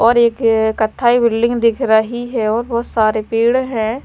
और एक कथाई बिल्डिंग दिख रही है और बहुत सारे पेड़ हैं।